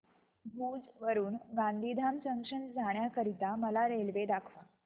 भुज वरून गांधीधाम जंक्शन जाण्या करीता मला रेल्वे दाखवा